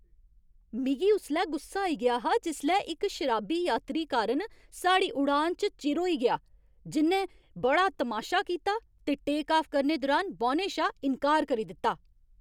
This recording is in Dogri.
मिगी उसलै गुस्सा आई गेआ हा जिसलै इक शराबी यात्री कारण साढ़ी उड़ान च चिर होई गेआ, जि'न्नै बड़ा तमाशा कीता ते टेक आफ करने दुरान बौह्ने शा इन्कार करी दित्ता।